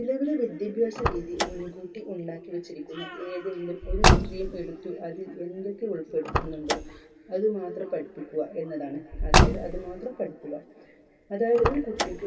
നിലവിൽ വിദ്യാഭ്യാസരീതി മുൻകൂട്ടി ഉണ്ടാക്കിവെച്ചിരിക്കുന്നു ഏതെങ്കിലും ഒരു stream എടുത്ത് അതിൽ എന്തൊക്കെ ഉൾപ്പെടുത്തുന്നുണ്ടോ അത് മാത്രം പഠിപ്പിക്കുക എന്നതാണ് അതായത് അത് മാത്രം പഠിക്കുക അതായത് ഒരു കുട്ടിക്ക്